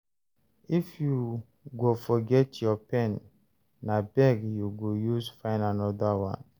If you go forget your pen, na beg you go use fyn another one.